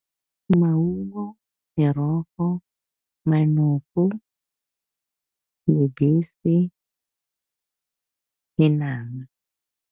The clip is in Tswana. Maungo, merogo, manoko, lebese le nama.